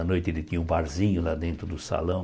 À noite ele tinha o barzinho lá dentro do salão.